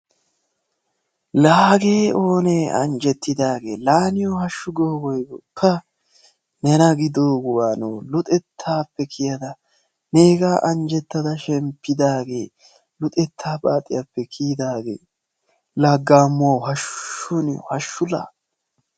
laa hagee oonee anjjettidagee! laa niyoo haashu goo woygoo! pa! nena gidoo wanoo! luxettaappe kiyadda negaa anjjeitida shemppidaagee luxetta paaciyaappe kiyidaagee! la gaammuwaw haashshu niyo haashshu la.